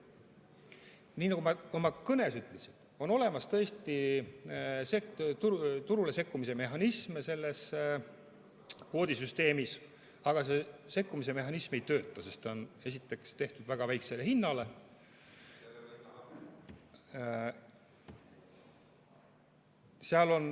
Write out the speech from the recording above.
Nii nagu ma oma kõnes ütlesin, selles kvoodisüsteemis on olemas tõesti turule sekkumise mehhanism, aga see sekkumise mehhanism ei tööta, sest ta on esiteks tehtud väga väikese hinna põhjal.